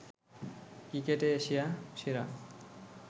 ক্রিকেটে এশিয়া সেরা